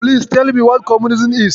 Please tell me what communism is?